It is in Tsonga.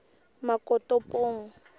makotopong